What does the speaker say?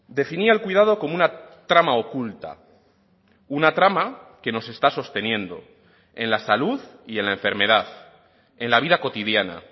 definía el cuidado como una trama oculta una trama que nos está sosteniendo en la salud y en la enfermedad en la vida cotidiana